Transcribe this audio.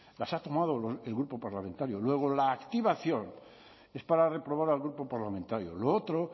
las ha tomado el grupo parlamentario luego la activación es para reprobar al grupo parlamentario lo otro